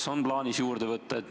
Kas on plaanis juurde võtta?